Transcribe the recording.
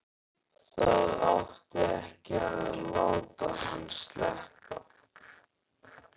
Það átti ekki að láta hann sleppa!